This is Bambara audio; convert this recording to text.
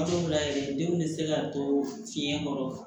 Hal'o la yɛrɛ denw bɛ se ka to fiɲɛ kɔrɔ